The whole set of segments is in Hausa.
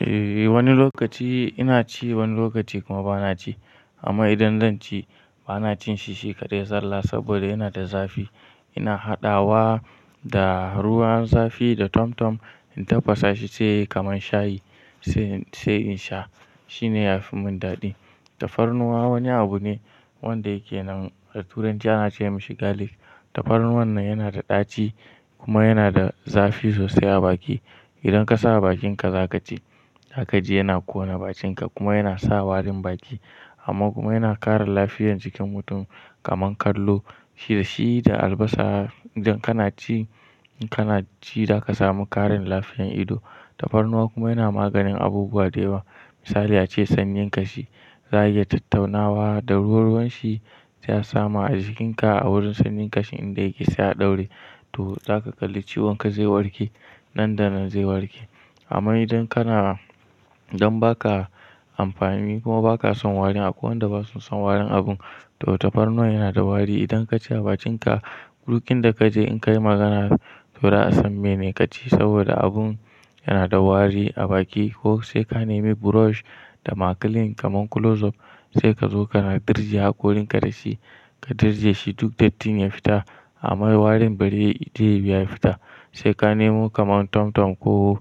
Eh, wani lokaci ina ci, wani lokaci kuma ba na ci. Amma idan zan ci, ba na cin shi shi kaɗai da sallah saboda yana da zafi. Ina haɗawa da ruwan zafi da tomtom in tafasa shi sai kaman shayi sai in sha. Shi ne ya fi mun daɗi. Tafarnuwa wani abu ne wanda yake nan. Turanci ana ce mashi garlic. Tafarnuwan nan yana da ɗaci kuma yana da zafi sosai a baki. Idan ka sa a bakinka za ka ji, za ka ji yana ƙona bakinka kuma yana sa warin baki. Amma kuma yana ƙara lafiyar jikin mutum kaman kallo. Shi da albasa idan kana ci, in kana ci za ka samu ƙarin lafiyan ido. Tafarnuwa kuma yana maganin abubuwa da yawa. Misali ace sanyin ƙashi, za a iya tattaunawa da ruwa ruwan shi sai a sama a jikinka a wurin sanyin ƙashin inda yake sai a ɗaure. To za ka kalli ciwon ka zai warke, nan da nan zai warke. Amma idan kana, don ba ka amfani kuma ba ka son warin, akwai wanda ba su son warin abu. To tafarnuwa yana da wari. Idan ka ci a bakinka, duk in da ka je in ka yi magana to za a san mene ka ci saboda abun yana da wari a baki ko sai ka nemi brush da ma clean kaman close up sai ka zo kana dirje haƙorinka da shi. Ka dirje shi duk dattin ya fita amma warin bari ya bi ya fita. Sai ka nemo kaman tomtom ko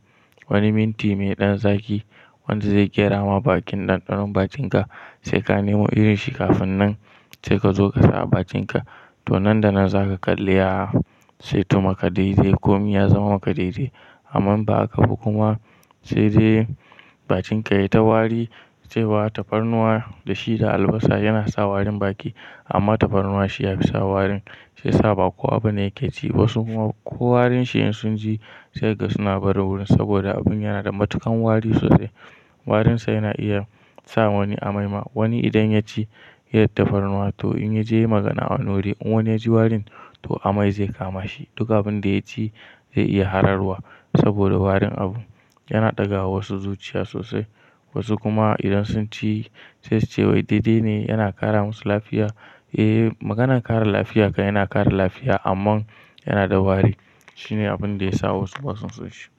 wani minti mai ɗan zaki wanda zai ƙera ma bakin ɗanɗanon bakinka. Sai ka nemo irin shi kafin nan sai ka zo ka sa a bakinka to nan da nan za ka kalli ya sai tumaka daidai komi ya zama maka daidai. Amma ba a haka ba kuma sai dai bakinka ya yi ta wari sai ba tafarnuwa da shi da albasa yana sa warin baki amma tafarnuwa shi ya fi sa warin sai saba kowa ba ne yake ci wasu kuma ko warin shi in sun ji sai ga suna barin wurin saboda abun yana da matuƙan wari sosai. Warinsa yana iya sa wani amai ma. Wani idan ya ci ya yi tafarnuwa to in ya je ya yi magana a wani wuri in wani ya ji warin to amai zai kama shi. Duk abun da ya ci zai iya hararwa saboda warin abu. Yana ɗaga wa wasu zuciya sosai. Wasu kuma idan sun ci sai su ce wai daidai ne yana ƙara musu lafiya. Eh, maganan ƙara lafiya kan yana ƙara lafiya amma yana da wari. Shi ne abun da ya sa wasu basa son shi.